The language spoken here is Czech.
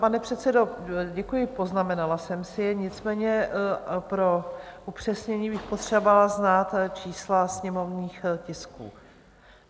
Pane předsedo, děkuji, poznamenala jsem si je, nicméně pro upřesnění bych potřebovala znát čísla sněmovních tisků.